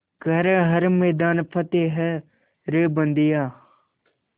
कर हर मैदान फ़तेह रे बंदेया